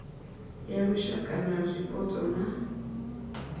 ya lushaka ya zwipotso na